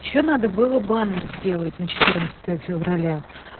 ещё надо было баннер сделать на февраля